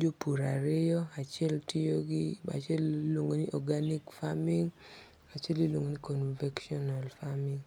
jopur ariyo achiel tiyo gi achiel iluongo' ni organic farming achiel iluongo ni convectional farming.